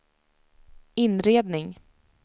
inredning